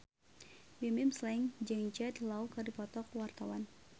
Bimbim Slank jeung Jude Law keur dipoto ku wartawan